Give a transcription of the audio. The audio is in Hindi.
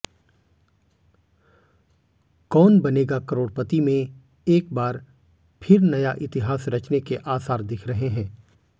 कौन बनेगा करोड़पति में एक बार फिर नया इतिहास रचने के आसार दिख रहे हैं